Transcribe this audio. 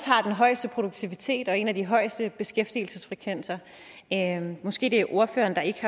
højeste produktivitet og en af de højeste beskæftigelsesfrekvenser måske det er ordføreren der ikke